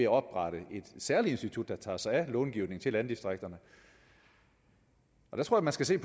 oprette et særligt institut der tager sig af långivningen til landdistrikterne jeg tror man skal se